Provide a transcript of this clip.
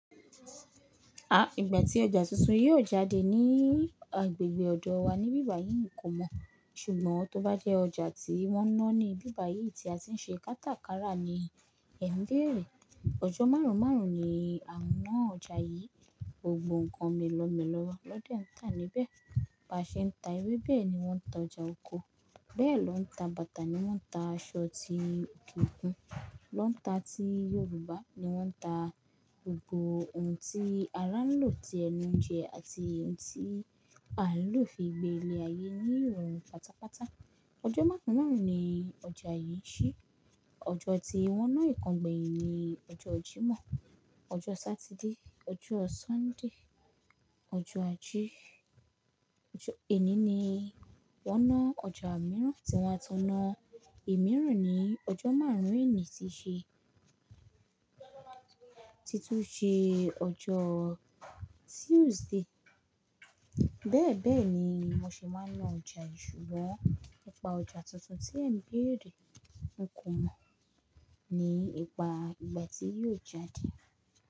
À, ìgbà tí ọjà tuntun yóò jáde ní agbègbè ọ̀dọ̀ wa ní bíbà yìí n kò mọ̀, ṣùgbọ́n tó bá jẹ́ ọjà tí wọ́n ń ná ní bíbà yìí tí a ti n ṣe kátàkárà ní Ẹ̀nbere, ọjọ́ márùn-ún márùn-ún ni à ń ná ọjà yìí. Gbogbo nǹkan mélọ̀mẹ́lọ̀ lọ́dẹ ń tà níbẹ̀. Ba ṣe ń ta ewébẹ̀ ni wọ́n tà, ọjà oko bẹ́ẹ̀ lọ ń ta bàtà ni wọ́n tà, aṣọ ti kíkún lọ ń ta, tí Yorùbá ni wọ́n tà, gbogbo ohun tí a ránlò tí ẹnu ń jẹ àti ohun tí a ń lò fi gbé ilẹ̀ ayé ní òòrùn pátápátá. Ọjọ́ márùn-ún márùn-ún ni ọjà yìí ṣí. Ọjọ́ tí wọ́n ná ìkángbẹ̀yìn ni ọjọ́ Jímọ̀, ọjọ́ Saturday, ọjọ́ Sunday, ọjọ́ ajé, ọjọ́ Ẹ̀ní ni wọ́n ná ọjà mìíràn tí wọ́n á taná. Emí ìrin ni ọjọ́ márùn-ún ení ti ṣe, ti tún ṣe ọjọ́ Tuesday. Bẹ́ẹ̀ bẹ́ẹ̀ ni mo ṣe máa ná ọjà yìí ṣùgbọ́n nípa ọjà tuntun tí Ẹ̀n bẹ́rẹ̀ ń kùn mó, ní ipa ìgbà tí yóò jáde.